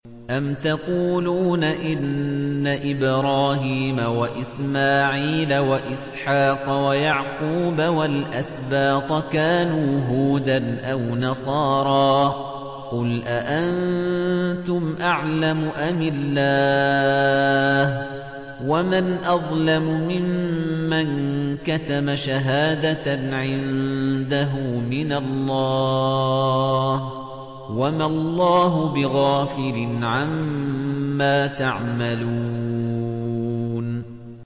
أَمْ تَقُولُونَ إِنَّ إِبْرَاهِيمَ وَإِسْمَاعِيلَ وَإِسْحَاقَ وَيَعْقُوبَ وَالْأَسْبَاطَ كَانُوا هُودًا أَوْ نَصَارَىٰ ۗ قُلْ أَأَنتُمْ أَعْلَمُ أَمِ اللَّهُ ۗ وَمَنْ أَظْلَمُ مِمَّن كَتَمَ شَهَادَةً عِندَهُ مِنَ اللَّهِ ۗ وَمَا اللَّهُ بِغَافِلٍ عَمَّا تَعْمَلُونَ